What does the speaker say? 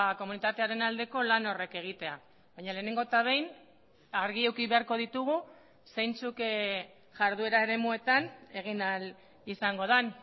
komunitatearen aldeko lan horrek egitea baina lehenengo eta behin argi eduki beharko ditugu zeintzuk jarduera eremuetan egin ahal izango den